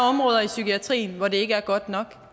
områder i psykiatrien hvor det ikke er godt nok